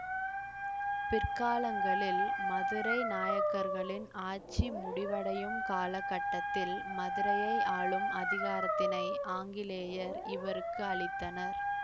பிற்காலங்களில் மதுரை நாயக்கர்களின் ஆட்சி முடிவடையும் காலகட்டத்தில் மதுரையை ஆளும் அதிகாரத்தினை ஆங்கிலேயர் இவருக்கு அளித்தனர்